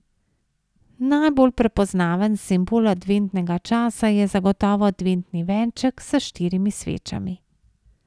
Najbolj prepoznaven simbol adventnega časa je zagotovo adventni venček, s štirimi svečami.